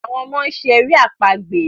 awọn ọmọ ṣe èrè àpagbè.